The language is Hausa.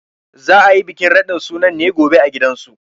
Za a yi bikin radin sunan ne gobe a gidansu.